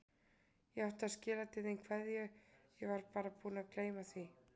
Ég átti að skila til þín kveðju, ég var bara búin að gleyma því.